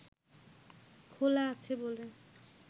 খোলা আছে বলে